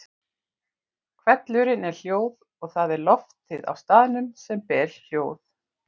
Hvellurinn er hljóð og það er loftið á staðnum sem ber hljóð.